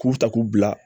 K'u ta k'u bila